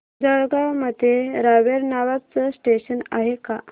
जळगाव मध्ये रावेर नावाचं स्टेशन आहे का